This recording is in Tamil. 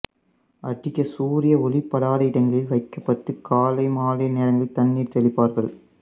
அதிக சூரிய ஒளிப்படாத இடங்களில் வைக்கப்பட்டு காலைமாலை நேரங்களில் தண்ணீர் தெளிப்பார்கள்